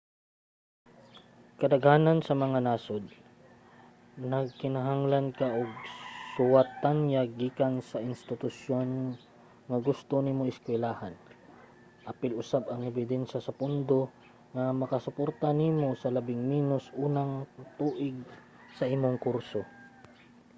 kadaghanan sa mga nasod nagkinahanglan ka og suwat-tanyag gikan sa institusyon nga gusto nimo eskuylahan apil usab ang ebidensya sa pondo nga makasuporta nimo sa labing minos unang tuig sa imong kurso